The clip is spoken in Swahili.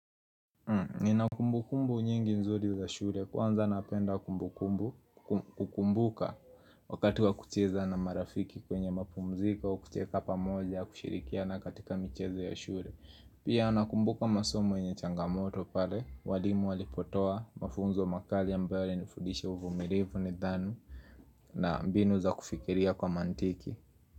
Nina kumbukumbu nyingi nzuri za shule kwanza napenda kumbukumbu kukumbuka wakati wa kucheza na marafiki kwenye mapumziko kucheka pamoja kushirikiana katika michezo ya shule. Pia anakumbuka masomo yenye changamoto pale, walimu walipotoa, mafunzo makali ambayo ilinifundisha uvumilivu nidhanu na mbinu za kufikiria kwa mantiki.